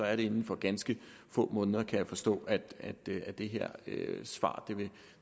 er det inden for ganske få måneder kan jeg forstå at det her svar